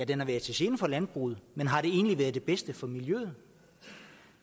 den har været til gene for landbruget men har den egentlig været det bedste for miljøet